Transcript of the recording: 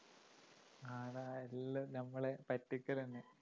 ആടാ എല്ലാം നമ്മളെ പറ്റിക്കല് തന്നെ